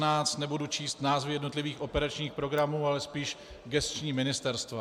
Nebudu číst názvy jednotlivých operačních programů, ale spíš gesční ministerstva.